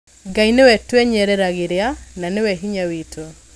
Ngai nĩwe twenyereragĩra na nĩwe hinya witũ.